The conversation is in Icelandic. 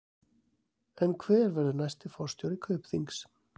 En hver verður næsti forstjóri Kaupþings?